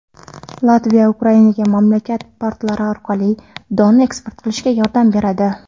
Latviya Ukrainaga mamlakat portlari orqali don eksport qilishda yordam beradi.